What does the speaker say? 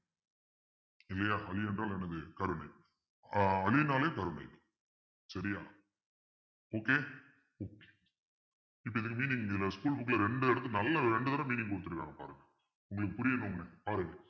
இல்லையா அளி என்றால் என்னது கருணை ஆஹ் அளின்னாலே கருணை சரியா okay இப்பிடி அதுல meaning இதுல school book ல ரெண்டு எடுத்து நல்லா ரெண்டு தடவை meaning குடுத்திருக்காங்க பாருங்க உங்களுக்கு புரியணும்ன்னு பாருங்க